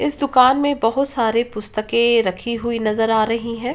इस दुकान में बहोत सारे पुस्तकें रखी हुई नजर आ रही हैं।